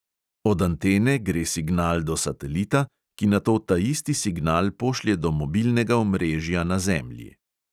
Od antene gre signal do satelita, ki nato taisti signal pošlje do mobilnega omrežja na zemlji.